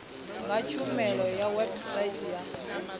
nga tshumiso ya website ya